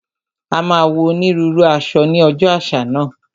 A máa wọ onírúurú aṣọ ní ọjọ́ àṣà náà